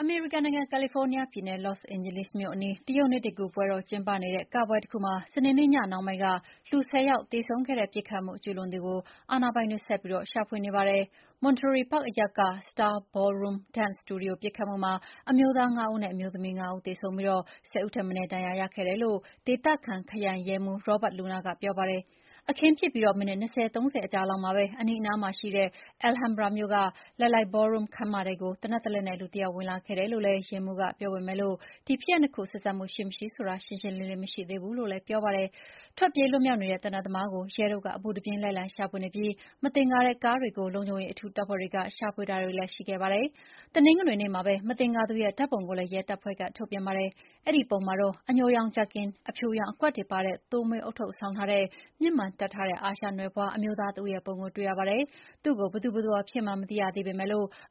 အမေရိကန်နိုင်ငံ၊ ကယ်လီဖိုးနီးယားပြည်နယ်၊ Los Angeles မြို့အနီး တရုတ်နှစ်သစ်ကူးပွဲတော် ကျင်းပနေတဲ့ ကပွဲတခုမှာ စနေနေ့ ညနှောင်းပိုင်းက လူ ၁၀ ယောက် သေဆုံးခဲ့တဲ့ ပစ်ခတ်မှု ကျုးလွန်သူကို အာဏာပိုင်တွေ ဆက်လက် ရှာဖွေနေပါတယ်။ Monterey Park အရပ်က Star Ballroom Dance စတူဒီယိုပစ်ခတ်မှုမှာ အမျိုးသား ၅ ဦးနဲ့ အမျိုးသမီး ၅ ဦးသေဆုံးပြီး ၁၀ ဦးထက်မနည်းဒဏ်ရာရခဲ့တယ်လို့ ဒေသခံ ခရိုင်ရဲမှူး Robert Luna ကပြောပါတယ်။ အခင်းဖြစ်ပြီး မိနစ် ၂၀၊ ၃၀ အကြာလောက်မှာပဲ အနီးအနားမှာရှိတဲ့ Alhambra မြို့က Lai Lai Ballroom ခန်းမထဲကို သေနတ်တလက်နဲ့ လူတယောက်ဝင်လာခဲ့တယ်လို့လည်း ရဲမှူးက ပြောပေမဲ့ ဒီဖြစ်ရပ်နှစ်ခု ဆက်စပ်မှုရှိမရှိဆိုတာ ရှင်းရှင်းလင်းလင်းမရှိသေးဘူးလို့လည်း ပြောပါတယ်။ ထွက်ပြေးလွတ်မြောက်နေတဲ့ သေနတ်သမားကို ရဲတို့က အပူတပြင်းလိုက်လံရှာဖွေနေပြီး မသင်္ကာတဲ့ ကားတွေကို လုံခြုံရေး အထူးတပ်ဖွဲ့တွေက ရှာဖွေတာတွေလည်း ရှိခဲ့ပါတယ်။ တနင်္ဂနွေနေ့မှာပဲ မသင်္ကာသူရဲ့ ဓာတ်ပုံကိုလည်း ရဲတပ်ဖွဲ့က ထုတ်ပြန်ပါတယ်။ အဲဒီပုံမှာတော့ အညိုရောင် ဂျာကင်၊ အဖြူရောင်အကွက်တွေပါတဲ့ သိုးမွေးဦးထုပ်ဆောင်းထားတဲ့ မျက်မှန်တပ်ထားတဲ့ အာရှနွယ်ဖွားအမျိုးသားတဦးရဲ့ပုံကိုတွေ့ရပါတယ်။ သူ့ကိုဘယ်သူဘယ်ဝါဖြစ်မှန်းမသိရသေးပေမယ့်